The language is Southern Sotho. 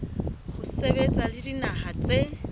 ho sebetsa le dinaha tse